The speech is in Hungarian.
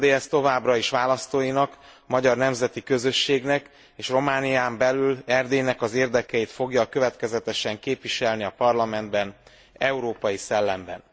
Az RMDSZ továbbra is választóinak, a magyar nemzeti közösségnek és Románián belül Erdélynek az érdekeit fogja következetesen képviselni a parlamentben, európai szellemben.